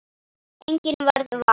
Enginn varð var.